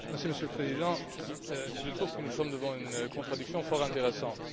Monsieur le Président, je trouve que nous sommes devant une contradiction fort intéressante.